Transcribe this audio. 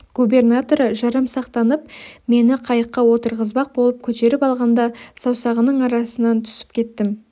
губернаторы жарамсақтанып мені қайыққа отырғызбақ болып көтеріп алғанда саусағының арасынан түсіп кеттім